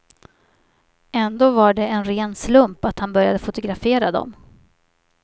Ändå var det en ren slump att han började fotografera dem.